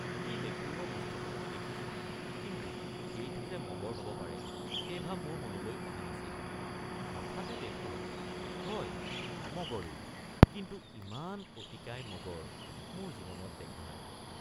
সি দেখুওৱা বস্তুটো মই দেখিছোঁ কিন্তু সেইটো যে মগৰ হব পাৰে সেই ভাব মোৰ মনলৈ অহা নাছিল হঠাতে দেখোঁহয় মগৰেই কিন্তু ইমান অতিকায় মগৰ মোৰ জীৱনত দেখা নাই।